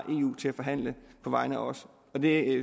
eu til at forhandle på vegne af os og det